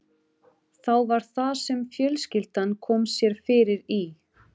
Þá var það sem fjölskyldan kom sér fyrir í